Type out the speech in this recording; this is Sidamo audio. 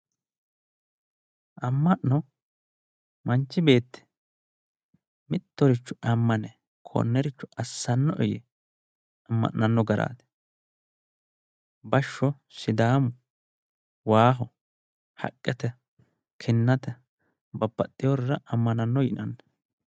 Ama'no manchi beetti mittoricho amane konnericho assano'e yee ama'nanno garaati. bashsho sidaamu, waaho, haqette, kinate babbaxoyoorira amananno yinanni.